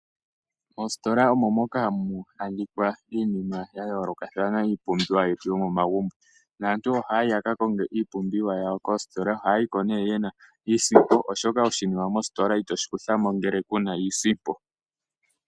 Oositola omo moka hamu a dhika iinima ya yoolokathana, iipumbiwa yetu yomomagumbo naantu ohaya yi ya ka konge iipumbiwa yawo. Ohaya yi ko niisimpo, oshoka oshinima mositola itoshi kutha mo ngele ku na iisimpo.